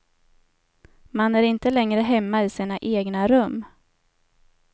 Man är inte längre hemma i sina egna rum.